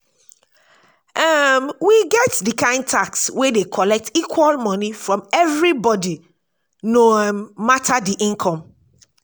um we get di kind tax wey dey collect equal money from every body no um matter di income